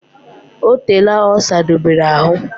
O teela o sadobere ahu